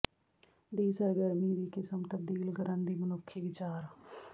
ਦੀ ਸਰਗਰਮੀ ਦੀ ਕਿਸਮ ਤਬਦੀਲ ਕਰਨ ਦੀ ਮਨੁੱਖੀ ਵਿਚਾਰ